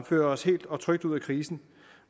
fører os helt og trygt ud af krisen